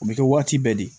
U bɛ kɛ waati bɛɛ de